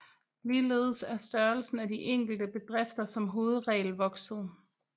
Ligeledes er størrelsen af de enkelte bedrifter som hovedregel vokset